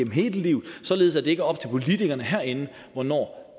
hele livet således at det ikke er op til politikerne herinde hvornår